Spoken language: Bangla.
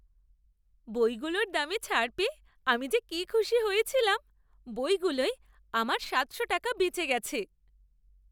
বইগুলোর দামে ছাড় পেয়ে আমি যে কি খুশি হয়েছিলাম! বইগুলোয় আমার সাতশো টাকা বেঁচে গেছে।